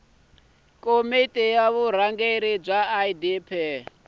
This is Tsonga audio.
komiti ya vurhangeri ya idp